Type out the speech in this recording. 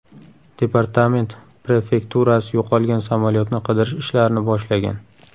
Departament prefekturasi yo‘qolgan samolyotni qidirish ishlarini boshlagan.